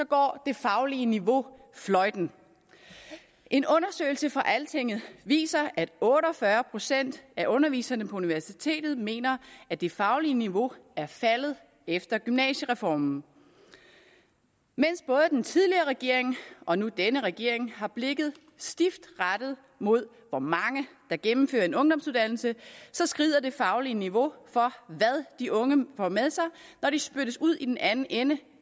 går det faglige niveau fløjten en undersøgelse fra altinget viser at otte og fyrre procent af underviserne på universitetet mener at det faglige niveau er faldet efter gymnasiereformen mens både den tidligere regering og nu denne regering har blikket stift rettet mod hvor mange der gennemfører en ungdomsuddannelse skrider det faglige niveau for hvad de unge får med sig når de spyttes ud i den anden ende